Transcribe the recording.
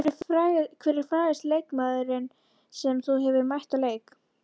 Hver er frægasti leikmaðurinn sem þú hefur mætt í leik?